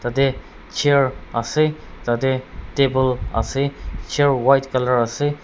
yate chair ase tah teh table ase chair white colour ase.